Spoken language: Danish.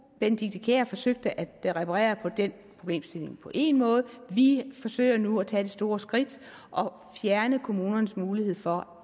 benedikte kiær forsøgte at reparere på den problemstilling på én måde vi forsøger nu at tage det store skridt og fjerne kommunernes mulighed for